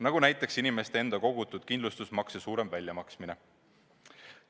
Toon näiteks inimeste enda kogutud kindlustusmakse raha suurema väljamaksmise.